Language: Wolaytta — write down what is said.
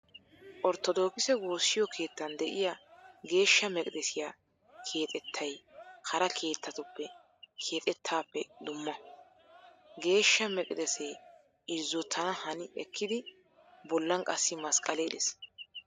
Ortodokise woossiyo keettan de'iyaa geeshsha meqidesiyaa keexettay hara keettatu keexettaappe dumma. Geeshsha meqidesee irzzotana hani ekkidi bollan qassi masqqalee de"ees.